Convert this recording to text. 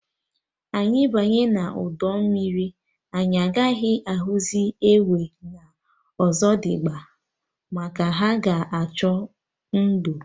Anyị banye udu mmiri, anyị agaghị ahụzị enwe na Ọzọdimgba, maka ha ga-achọ ndo